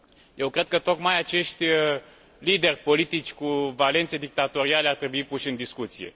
Eu cred că tocmai acești lideri politici cu valențe dictatoriale ar trebui puși în discuție.